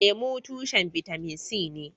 Lemu tushen bitamin c ne.